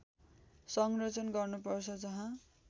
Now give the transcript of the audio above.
संरक्षण गर्नुपर्छ जहाँ